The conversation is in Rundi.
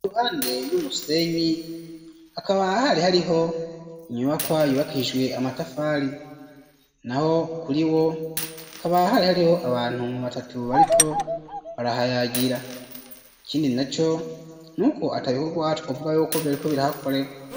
lruhande y'umusenyi, hakaba hari hariho inyubakwa yubakijwe Amatafari, naho kuri wo hakaba hari hariho abantu batatu baliko barahayagira, ikindi na co n'ukwo atabi kogwa twovuga y'uko vyariko birahakolegwa.